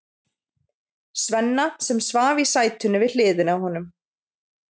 Svenna, sem svaf í sætinu við hliðina á honum.